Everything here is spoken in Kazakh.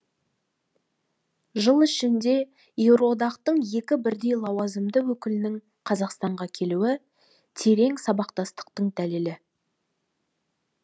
жыл ішінде еуроодақтың екі бірдей лауазымды өкілінің қазақстанға келуі терең сабақтастықтың дәлелі